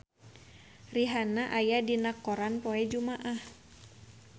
Rihanna aya dina koran poe Jumaah